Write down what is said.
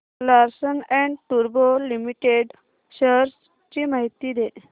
Larsen and टुर्बो limited shares ची माहिती दे